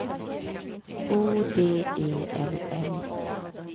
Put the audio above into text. O D E L L